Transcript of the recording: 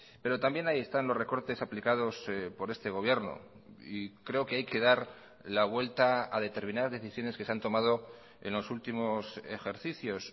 pero también ahí están los recortes aplicados por este gobierno y creo que hay que dar la vuelta a determinadas decisiones que se han tomado en los últimos ejercicios